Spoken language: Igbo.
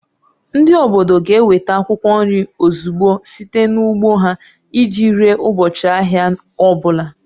Ndị obodo ga-eweta akwụkwọ nri ozugbo site n'ugbo ha iji ree ụbọchị ahịa ọ bụla